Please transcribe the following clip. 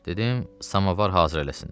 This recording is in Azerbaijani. Dedim, samavar hazır eləsinlər.